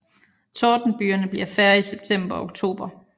Tordenbygerne bliver færre i september og oktober